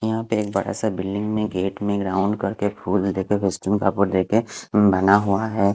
यहा पे एक बड़ा सा बिल्डिंग में गेट में एक राउंड करके फुल देके बना हुआ है।